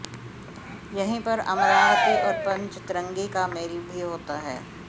यहीं पर अमरावती और पंचतरणी का मेल भी होता है